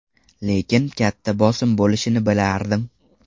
Lekin katta bosim bo‘lishini bilardim.